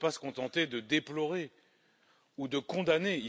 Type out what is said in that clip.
Mais on ne peut pas se contenter de déplorer ou de condamner.